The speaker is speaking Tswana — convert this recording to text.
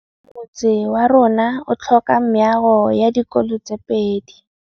Motse warona o tlhoka meago ya dikolô tse pedi.